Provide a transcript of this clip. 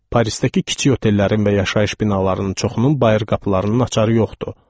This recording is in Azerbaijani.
Parisdəki kiçik otellərin və yaşayış binalarının çoxunun bayır qapılarının açarı yoxdu.